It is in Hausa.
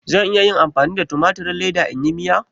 Zan iya amfani da tumatirin leda in yi Miya?